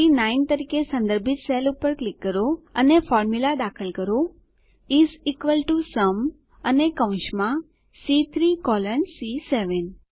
C9 તરીકે સંદર્ભિત cell પર ક્લિક કરો અને ફોર્મુલા દાખલ કરો ઇસ ઇક્વલ ટીઓ સુમ અને કૌંસમાં સી3 કોલોન સી7